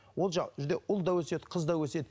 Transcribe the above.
ол ұл да өседі қыз да өседі